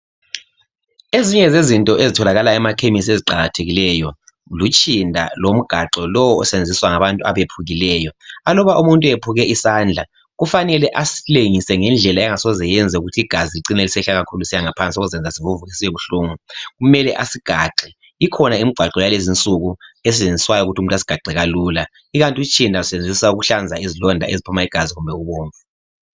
ezinye zezinto ezitholakala emakhemesi eziqakathekileyo lutshinda lomgaxo lowo olusebenziswa ngabantu abephukileyo aluba umuntu ephuke isandla kufanele asilengise ngendlela engasoze iyenze ukuthi igazi licine selisehla kakhulu lisiya ngaphansi okuzayenza sivuvuke sibe buhlungu kumele asigaxe ikhona imigaxo yakulezinsuku esetshenziswayo ukuthi umuntu asigaxe kalula ikanti utshind lusetshenziswa ukuhlanza izilonda eziphuma igazi kumbe ubomvu